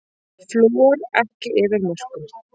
Flúor ekki yfir mörkum